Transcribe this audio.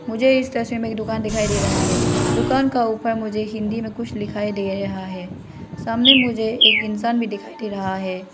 मुझे इस तस्वीर मे एक दुकान दिखाई दे रहा है दुकान का ऊपर मुझे हिंदी में कुछ लिखाई दे रहा है सामने मुझे एक इंसान भी दिखाई दे रहा है।